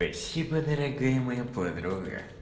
спасибо дорогая моя подруга